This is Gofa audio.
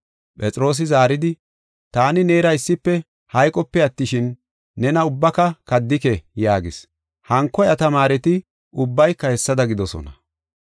Phexroosi zaaridi, “Taani neera issife hayqope attishin, nena ubbaka kaddike” yaagis. Hanko iya tamaareti ubbayka hessada gidoosona.